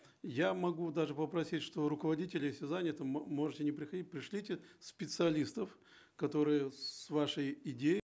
я могу даже попросить что руководители все заняты можете не приходить пришлите специалистов которые с вашей идеей